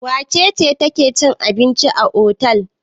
Wace ce take cin abinci a otel?